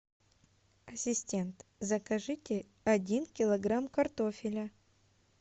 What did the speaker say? ассистент закажите один килограмм картофеля